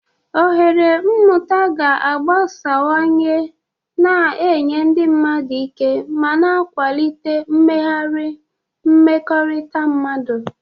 Ohere mmụta ga-agbasawanye, na-enye ndị mmadụ ike ma na-akwalite mmegharị mmekọrịta mmadụ.